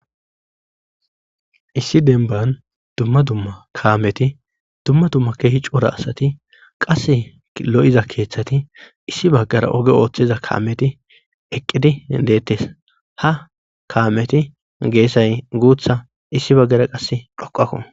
issi denban dumma dumma kaameti dumma dumma keehi coura asati qasse lo7iza keeththati issi baggara oge ooththeza kaameti eqqidi deettes ha kaameti geessay guutha issi baggara qasse dhoqakko